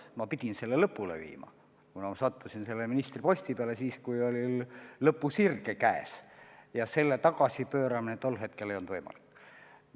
Ma pidin selle lõpule viima, kuna ma sattusin selle ministri ametisse siis, kui oli lõpusirge käes ja reformi tagasipööramine tol hetkel ei olnud võimalik.